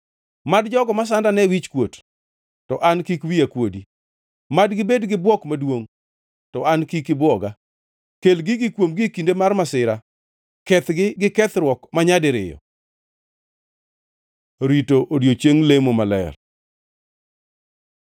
Mad jogo masanda ne wichkuot, to an kik wiya kuodi; mad gibed gi bwok maduongʼ to an kik ibwoga. Kel gigi kuomgi e kinde mar masira; kethgi gi kethruok manyadiriyo. Rito odiechiengʼ lemo maler